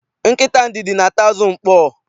Nkịta ndidi na-ata azụ ukpoo.